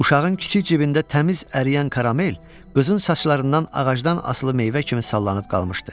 Uşağın kiçik cibində təmiz əriyən karamel qızın saçlarından ağacdan asılı meyvə kimi sallanıb qalmışdı.